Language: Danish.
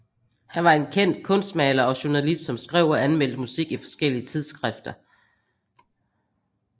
Han var en kendt kunstmaler og journalist som skrev og anmeldte musik i forskellige tidsskrifter